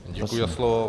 Děkuji za slovo.